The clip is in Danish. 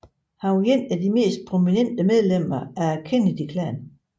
Han var et af de mest prominente medlemmer af Kennedyklanen